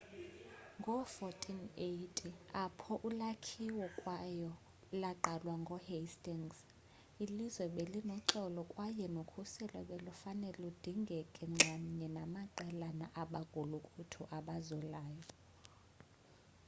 ngoo-1480 apho ulakhiwo kwayo laqalwa ngoo-hastings ilizwe belinoxolo kwaye nokhuselo belufane ludingeke nxamnye namaqelana abagulukuthu abazulayo